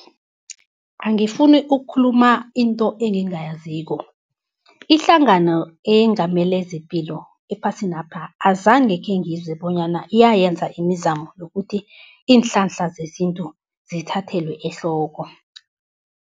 Angifuni ukukhuluma into engingayaziko, ihlangano eyengamele zepilo ephasinapha azange khengizwe bonyana iyayenza imizamo yokuthi iinhlahla zesintu, zithathelwe ehloko.